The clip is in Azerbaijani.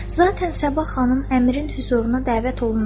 Zaten Sabah xanım əmirin hüzuruna dəvət olundu.